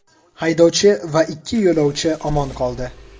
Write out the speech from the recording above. Haydovchi va ikki yo‘lovchi omon qoldi.